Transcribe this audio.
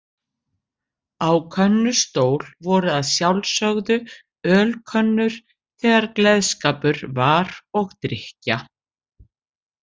Á könnustól voru að sjálfsögðu ölkönnur þegar gleðskapur var og drykkja.